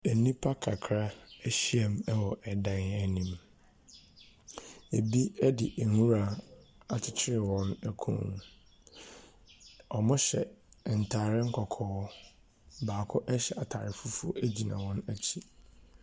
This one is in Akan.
Enipa kakra ehyiemu ɛwɔ ɛdan enim. Ebi ɛde nwura akyekyere wɔn ɛkɔn. Ɔmo hyɛ ntaare kɔkɔɔ. Baako ɛhyɛ ataare fufuuo egyina wɔn ekyi.